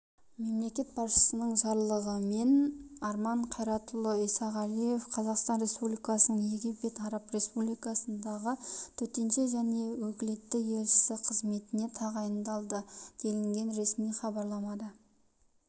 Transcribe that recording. мемлекет басшысының жарлығымен арман қайратұлы исағалиев қазақстан республикасының египет араб республикасындағы төтенше және өкілетті елшісі қызметіне тағайындалды делінген ресми хабарламада